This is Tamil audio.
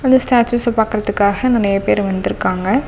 அந்த ஸ்டேச்யூச பாக்கறத்துகாக நிறைய பேர் வந்துருக்காங்க.